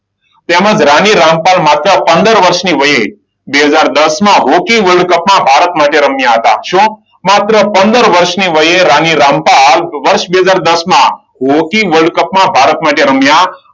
તેમજ રાણી રામપાલ માત્ર પંદર વર્ષની વયે બે હજાર દસમાં રોકી વર્લ્ડ કપમાં ભારત માટે રમ્યા હતા. શું? માત્ર પંદર વર્ષની વયે રાણી રામપાલ વર્ષ બે હજાર દસમાં હોકી વર્લ્ડ કપમાં ભારત માટે રમ્યા.